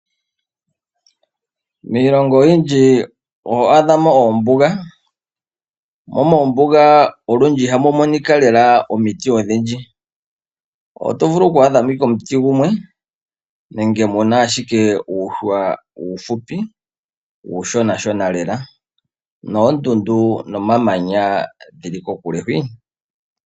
Miilongo oyindji otuna mo ombuga, mo mombuga otuna mo omiti odhindji oto vulu oku adha mo ike omuti gumwe nenge muna uushwa wumwe uushonashona lela noondundu dhili kokule hwii.